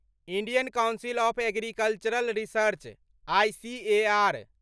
Indian council of agricultural research ICAR